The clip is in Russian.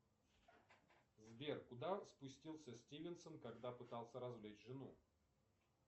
сбер куда спустился стивенсон когда пытался развлечь жену